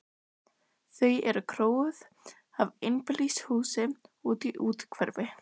Þau eru króuð af í einbýlishúsi úti í úthverfi.